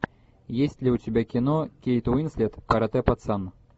есть ли у тебя кино кейт уинслет каратэ пацан